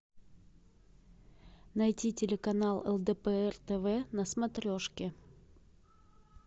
найти телеканал лдпр тв на смотрешке